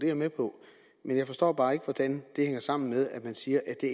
jeg med på men jeg forstår bare ikke hvordan det hænger sammen med at man siger at det